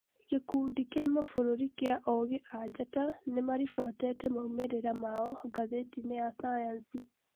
gĩkundi kĩa mabũrũri gĩa ogĩ a njata nimaribotete maumĩrĩra mao ngathĩtine ya cayanci